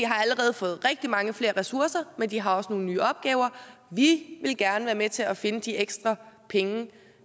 har allerede fået rigtig mange flere ressourcer men de har også nogle nye opgaver vi vil gerne være med til at finde de ekstra penge